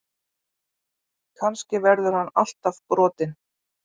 Kannski verður hann alltaf brotinn.